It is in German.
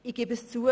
Ich gebe es zu: